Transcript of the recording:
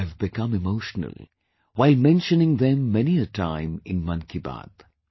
I have become emotional while mentioning them many a time in 'Mann Ki Baat'